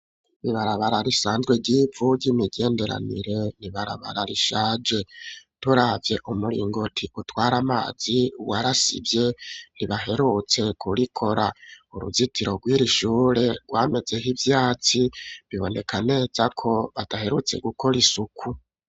Ibarabara risanzwe ryivu ry'imigenderanire ni ibarabara rishaje turavye umuringoti utwara amazi warasivye ntibaherutse kurikora uruzitiro rw'iri shure rwamezeho ivyatsi biboneka neza ko badaherutse gukora isuku.